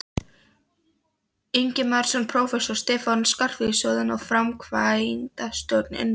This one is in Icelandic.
Ingimarsson prófessor, Stefán Skarphéðinsson framkvæmdastjóri, Unnar